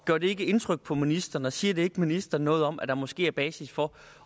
gør det ikke indtryk på ministeren og siger det ikke ministeren noget om at der måske er basis for